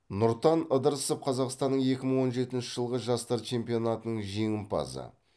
нұртан ыдырысов қазақстанның екі мың он жетінші жылғы жастар чемпионатаның жеңімпазы